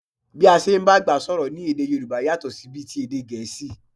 Bí a ṣe ń bá àgbà sọ̀rọ̀ ní èdè Yòrùbá yàtọ̀ sí bí ti èdè Gẹ̀ẹ́sì